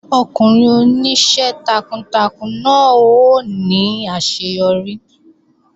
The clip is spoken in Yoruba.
Ọkùnrin oníṣẹ́ takuntakun náà ó ní àṣeyọrí